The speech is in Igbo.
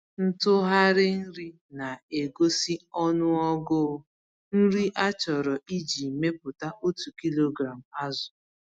Ntughari nri na-egosi ọnụọgụ nri achọrọ iji mepụta otu kilogram azụ.